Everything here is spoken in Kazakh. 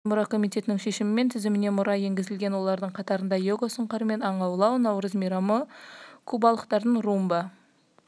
таяуда ғана материалдық емес мәдени мұра комитетінің шешімімен тізіміне мұра енгізілген олардың қатарында йога сұңқармен аң аулау наурыз мейрамы кубалықтардың румба